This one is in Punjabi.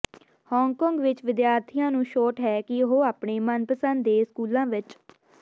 ਹਾਂਗਕਾਂਗ ਵਿਚ ਵਿਦਿਆਰਥੀਆਂ ਨੂੰ ਛੋਟ ਹੈ ਕਿ ਉਹ ਆਪਣੇ ਮਨਪਸੰਦ ਦੇ ਸਕੂਲਾਂ ਵਿਚ